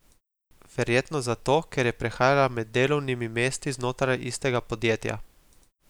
Verjetno zato, ker je prehajala med delovnimi mesti znotraj istega podjetja.